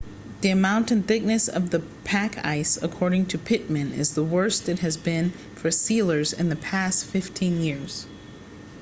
the amount and thickness of the pack ice according to pittman is the worst it has been for sealers in the past 15 years